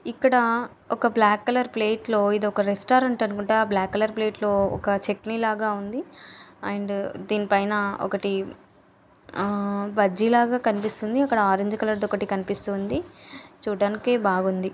ఇక్కడ ఒక black colour plate లో ఇది ఒక రెస్టాతురంట్ అనుకుంట ఆ బ్లాక్ కలర్ ప్లేట్ లో ఒక చట్నీ ల ఉంది ఆండ్ దేన్నీ పైన ఒకటీ బజ్జిల కనిపిస్తుంది అక్కడ ఆరంజ్ కలర్ డి కనిపిస్తుంది చుడానికి బాగుంది.